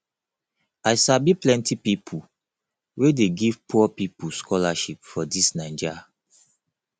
i sabi plenty pipu wey dey give poor pipu scholarship for dis naija